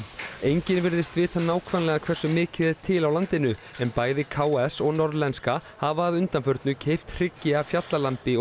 enginn virðist vita nákvæmlega hversu mikið er til á landinu en bæði k s og Norðlenska hafa að undanförnu keypt hryggi af fjallalambi